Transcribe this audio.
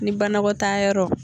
Ni banakɔ taa yɔrɔ